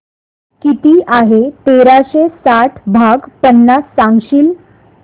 किती आहे तेराशे साठ भाग पन्नास सांगशील